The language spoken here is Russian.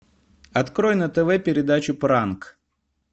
открой на тв передачу пранк